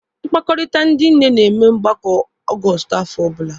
Mkpakọrịta ndị nne na-eme mgbakọ Ọgọstụ n'afọ ọbụla.